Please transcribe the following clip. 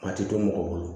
A tɛ to mɔgɔ bolo